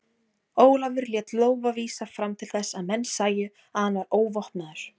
Ólafur lét lófa vísa fram til þess að menn sæju að hann var óvopnaður.